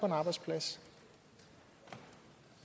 en arbejdsplads